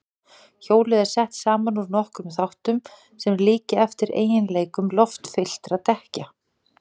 Hjólið er sett saman úr nokkrum þáttum sem líkja eftir eiginleikum loftfylltra dekkja.